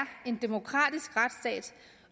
en demokratisk retsstat